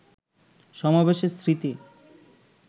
সমাবেশে স্মৃতি